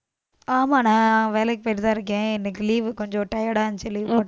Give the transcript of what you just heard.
ஆமான்டா வேலைக்கு போயிட்டுதான் இருக்கேன். இன்னைக்கு leave கொஞ்சம் tired ஆ இருந்துச்சு leave போட்~